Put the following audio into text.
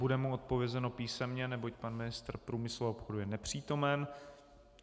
Bude mu odpovězeno písemně, neboť pan ministr průmyslu a obchodu je nepřítomen.